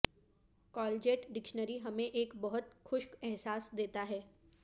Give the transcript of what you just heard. collegiate dictionary ہمیں ایک بہت خشک احساس دیتا ہے